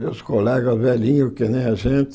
Meus colegas velhinhos, que nem a gente,